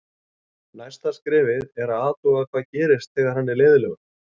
Næsta skrefið er að athuga hvað gerist þegar hann er leiðinlegur.